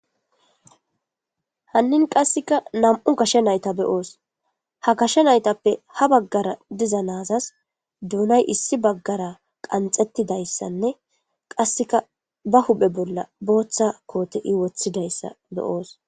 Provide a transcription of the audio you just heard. Hanini qassekka nam'u gashshe na'ayiththa be'os ha gashe nayitheppe ha bagara dizza nayithas dunay issi bagara qanxetidaysanne qassekka ba huppe bollan boththaba woththidaga be'os.